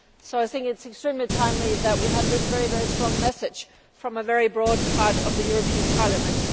I think it is extremely timely that we have this very strong message from a very broad part of the European Parliament.